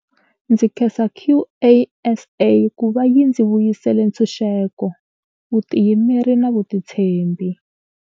Ndzi khensa QASA ku va yi ndzi vuyisele ntshunxeko, vutiyimeri na vutitshembi.